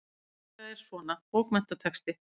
Já, þetta er svona. bókmenntatexti.